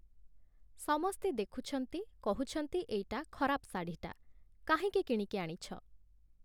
ସମସ୍ତେ ଦେଖୁଛନ୍ତି, କହୁଛନ୍ତି ଏଇଟା ଖରାପ ଶାଢ଼ୀଟା ! କାହିଁକି କିଣିକି ଆଣିଛ !